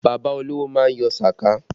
Bàbá olówó má ń yọ sàká